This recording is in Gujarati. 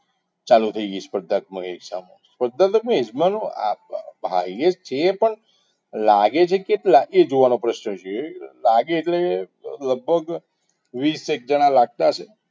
ચાલુ થઈ ગઈ સ્પર્ધાત્મકમયે highest છે પણ લાગે છે કેટલા એ જોવાનો પ્રશ્ન છે લાગે એટલે લગભગ વીસ એક જણા‌‌ લાગતા હશે